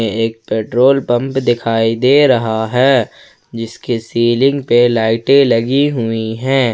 एक petrol pump दिखाई दे रहा है जिसके सीलिंग पे लाइटें लगी हुई हैं।